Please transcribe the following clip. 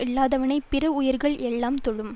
இல்லாதவனைப் பிற உயிர்கள் எல்லாம் தொழும்